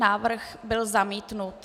Návrh byl zamítnut.